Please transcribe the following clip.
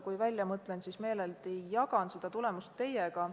Kui välja mõtlen, siis meeleldi jagan tulemust teiega.